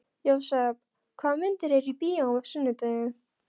Jósep, hvaða myndir eru í bíó á sunnudaginn?